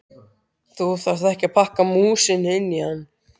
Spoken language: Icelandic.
Þú ert að pakka músinni inn í hann!